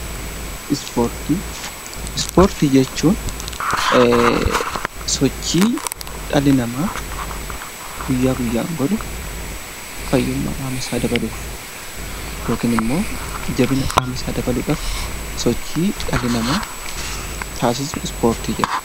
Ispoortii jechuun sochii dhalli namaa guyyaa guyyaadhaan godhu fayyummaa qaamasaa dabaluuf yookiin immoo jabinaaf sochii dhalli namaa taasisu ispoortii jedhama